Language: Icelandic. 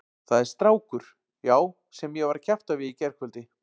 Það er strákur, já, sem ég var að kjafta við í gærkvöldi.